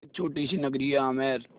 एक छोटी सी नगरी है आमेर